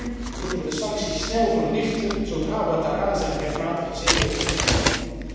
Maar nu moeten wij de sancties snel verlichten, zodra Ouattara zijn rechtmatige zetel heeft ingenomen.